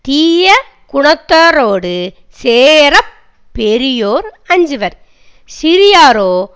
தீய குணத்தாரோடு சேர பெரியோர் அஞ்சுவர் சிறியாரோ